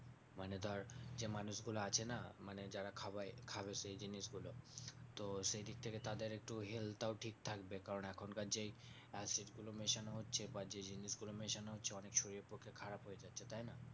মানে ধরে যে মানুষগুলো আছে না? মানে যারা খাওয়ায় খাবে সেই জিনিসগুলো। তো সেইদিকথেকে তাদের একটু ওই health টাও ঠিক থাকবে কারণ এখনকার যেই acid গুলো মেশানো হচ্ছে বা যে জিনিসগুলো মেশানো হচ্ছে ওগুলো অনেক শরীরের পক্ষে খারাপ হয়ে যাচ্ছে, তাইনা?